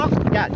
Sən saxla.